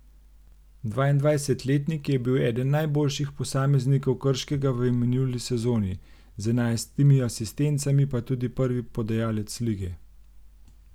Dvaindvajsetletnik je bil eden najboljših posameznikov Krškega v minuli sezoni, z enajstimi asistencami pa tudi prvi podajalec lige.